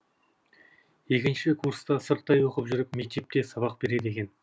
екінші курста сырттай оқып жүріп мектепте сабақ береді екен